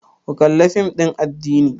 Ku kalla fim ɗin addini!